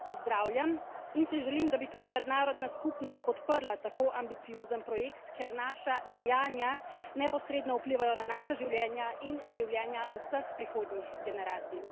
To pozdravljam in si želim, da bi tudi mednarodna skupnost podprla tako ambiciozen projekt, ker naša dejanja neposredno vplivajo na naša življenja in življenja vseh prihodnjih generacij.